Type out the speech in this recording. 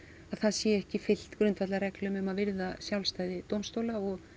það sé ekki fylgt grundvallarreglum um að virða sjálfstæði dómstóla og